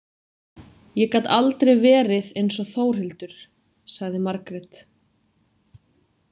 Ég gat aldrei verið eins og Þórhildur, sagði Margrét.